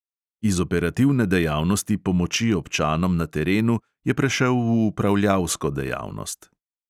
Iz operativne dejavnosti pomoči občanom na terenu je prešel v upravljalsko dejavnost.